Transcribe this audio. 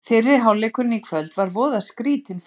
Fyrri hálfleikurinn í kvöld var voða skrýtinn framan af.